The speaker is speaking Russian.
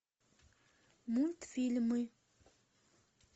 мультфильмы